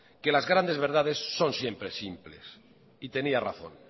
que las grandes verdades son siempre simples y tenía razón